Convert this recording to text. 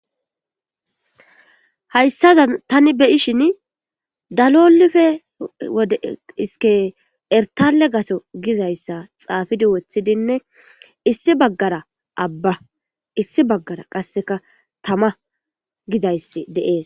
Hayissaza tani beyishin dalolife de iske elitale gaso gizayssa xaafidi wothidinne issi baggara abba issi baggara qasseka tama gizayssi dees